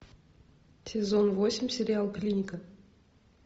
сезон восемь сериал клиника